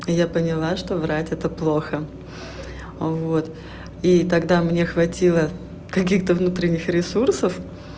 я поняла что врать это плохо вот и тогда мне хватило каких-то внутренних ресурсов